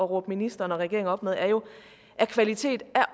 råbe ministeren og regeringen op med er jo at kvalitet